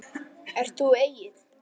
Ert þú Egill?